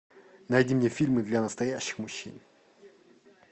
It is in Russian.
найди мне фильмы для настоящих мужчин